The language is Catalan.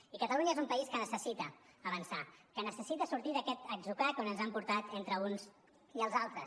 i catalunya és un país que necessita avançar que necessita sortir d’aquest atzucac on ens han portat entre uns i els altres